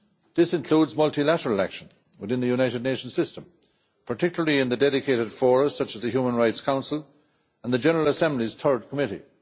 That includes multilateral action within the United Nations system, particularly in dedicated forums such as the Human Rights Council and the General Assembly's Third Committee.